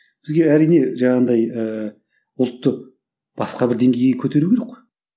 бізге әрине жаңағындай ііі ұлтты басқа бір деңгейге көтеру керек қой